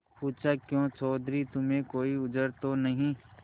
पूछाक्यों चौधरी तुम्हें कोई उज्र तो नहीं